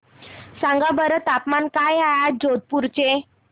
सांगा बरं तापमान काय आहे आज जोधपुर चे